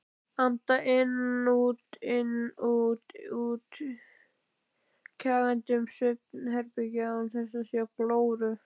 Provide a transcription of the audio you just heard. Anda inn-út-inn-út-inn-út, kjagandi um svefnherbergið án þess að sjá glóru.